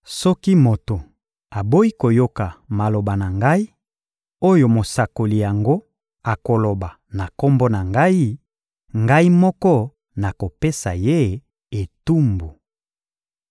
Soki moto aboyi koyoka maloba na Ngai, oyo mosakoli yango akoloba na Kombo na Ngai, Ngai moko nakopesa ye etumbu.